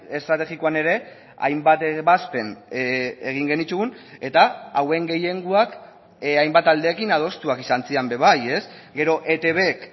estrategikoan ere hainbat ebazpen egin genituen eta hauen gehiengoak hainbat aldeekin adostuak izan ziren be bai gero etbk